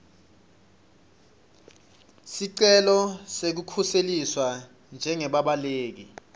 sicelo sekukhuseliswa njengebabaleki